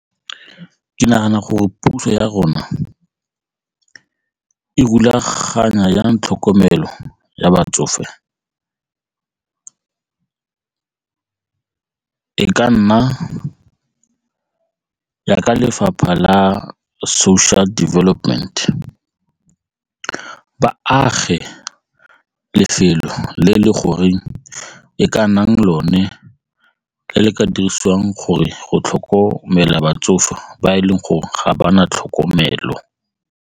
Ke nagana gore puso ya rona e rulaganya jang tlhokomelo ya batsofe? E ka nna jaaka lefapha la social development, ba age lefelo le le gore e ka nnang lone le ka dirisiwang gore go tlhokomela batsofe ba e leng gore ga ba na tlhokomelo.